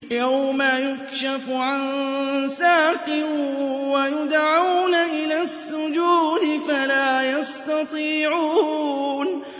يَوْمَ يُكْشَفُ عَن سَاقٍ وَيُدْعَوْنَ إِلَى السُّجُودِ فَلَا يَسْتَطِيعُونَ